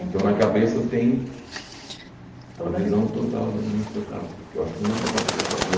Então, na cabeça eu tenho Toda a visão A visão total de um de um espetáculo, que eu acho fundamental para qualquer ator.